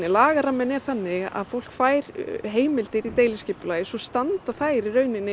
lagaramminn er þannig að fólk fær heimildir í deiliskipulagi svo standa þær